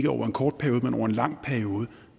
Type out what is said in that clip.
over en kort periode men over en lang periode